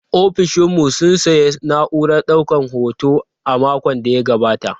Ofishin mu sun sayi na'urar daukar hoto a makon da ya gabata.